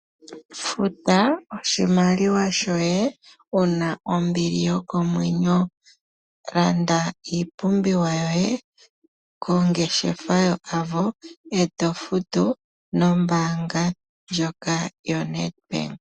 Futa oshimaliwa shoye wuna ombili yokomwenyo, landa iipumbiwa yoye kongeshefa yo Avo, eto futu nombaanga ndjoka yo Nedbank.